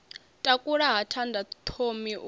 takula ha thanda thomi u